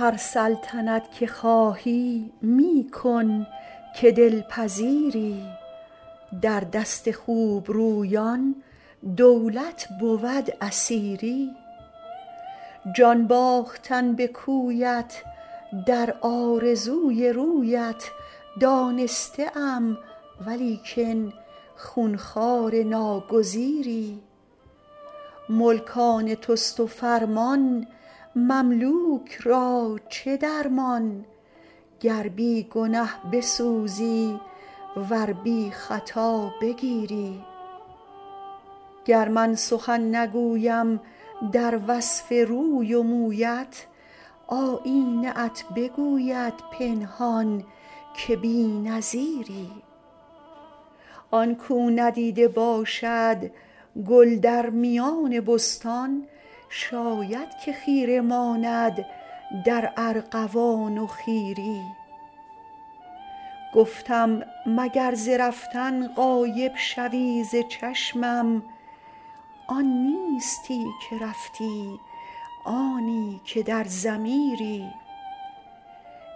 هر سلطنت که خواهی می کن که دل پذیری در دست خوب رویان دولت بود اسیری جان باختن به کویت در آرزوی رویت دانسته ام ولیکن خون خوار ناگزیری ملک آن توست و فرمان مملوک را چه درمان گر بی گنه بسوزی ور بی خطا بگیری گر من سخن نگویم در وصف روی و مویت آیینه ات بگوید پنهان که بی نظیری آن کاو ندیده باشد گل در میان بستان شاید که خیره ماند در ارغوان و خیری گفتم مگر ز رفتن غایب شوی ز چشمم آن نیستی که رفتی آنی که در ضمیری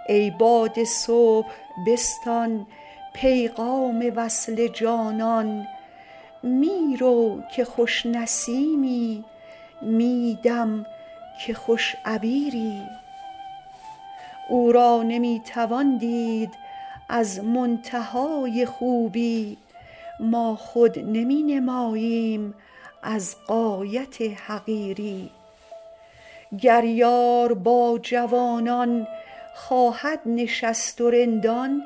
ای باد صبح بستان پیغام وصل جانان می رو که خوش نسیمی می دم که خوش عبیری او را نمی توان دید از منتهای خوبی ما خود نمی نماییم از غایت حقیری گر یار با جوانان خواهد نشست و رندان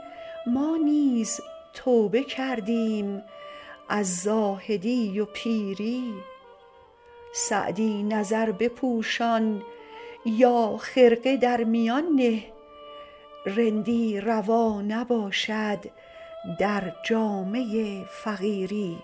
ما نیز توبه کردیم از زاهدی و پیری سعدی نظر بپوشان یا خرقه در میان نه رندی روا نباشد در جامه فقیری